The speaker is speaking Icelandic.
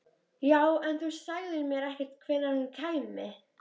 Já, en þú sagðir mér ekkert hvenær hún kæmi.